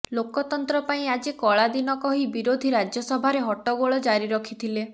ଲୋକତନ୍ତ୍ର ପାଇଁ ଆଜି କଳା ଦିନ କହି ବିରୋଧୀ ରାଜ୍ୟସଭାରେ ହଟଗୋଳ ଜାରି ରଖିଥିଲେ